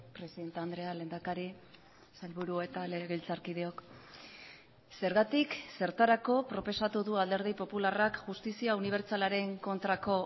presidente andrea lehendakari sailburu eta legebiltzarkideok zergatik zertarako proposatu du alderdi popularrak justizia unibertsalaren kontrako